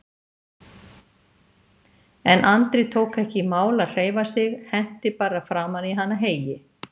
En Andri tók ekki í mál að hreyfa sig, henti bara framan í hana heyi.